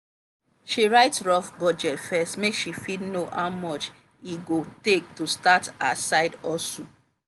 she write rough budget first make she fit know how much e go take to start her side hustle.